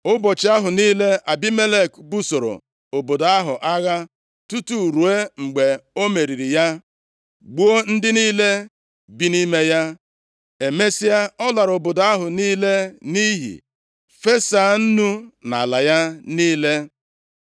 Ụbọchị ahụ niile, Abimelek busoro obodo ahụ agha tutu ruo mgbe o meriri ya, gbuo ndị niile bi nʼime ya. Emesịa, ọ lara obodo ahụ niile nʼiyi, fesaa nnu nʼala ya niile.